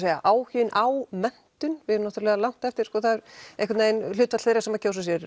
er áhuginn á menntun við erum náttúrulega langt á eftir sko það er einhvern vegin hlutfall þeirra sem kjósa sér